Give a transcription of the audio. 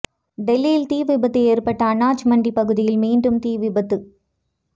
டெல்லியில் தீ விபத்து ஏற்பட்ட அனாஜ் மண்டி பகுதியில் மீண்டும் தீ விபத்து